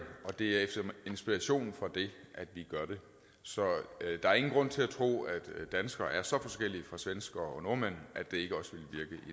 og det er efter inspiration fra det at vi gør det så der er ingen grund til at tro at danskere er så forskellige fra svenskere og nordmænd at det ikke også